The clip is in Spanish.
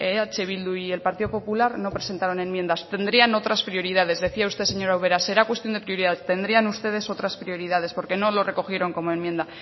eh bildu y el partido popular no presentaron enmiendas tendrían otras prioridades decía usted señora ubera será cuestión de prioridad tendrían ustedes otras prioridades porque no lo recogieron como enmienda